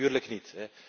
Natuurlijk niet.